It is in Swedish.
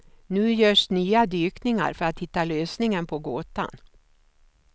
Nu görs nya dykningar för att hitta lösningen på gåtan.